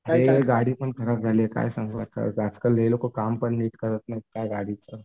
अरे गाडी पण खराब झाली आहे काय सांगू आता. लोकं काम पण करत नाहीत नीट गाडीचं.